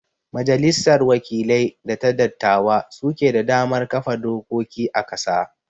majalissar wakilai da ta dattawa su ke da damar kafa dokoki a ƙasa